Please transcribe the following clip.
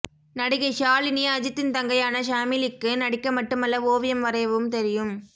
நடிகை ஷாலினி அஜித்தின் தங்கையான ஷாமிலிக்கு நடிக்க மட்டுமல்ல ஓவியம் வரையவும் தெரியும்